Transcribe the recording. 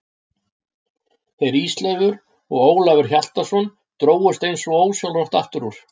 Þeir Ísleifur og Ólafur Hjaltason drógust eins og ósjálfrátt aftur úr.